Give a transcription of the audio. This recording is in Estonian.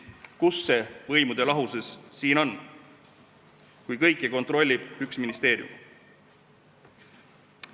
Kus see võimude lahusus siin on, kui kõike kontrollib üks ministeerium?